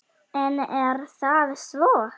En er það svo?